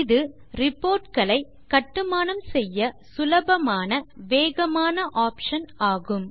இது reportகளை கட்டுமானம் செய்ய சுலபமான வேகமான ஆப்ஷன் ஆகும்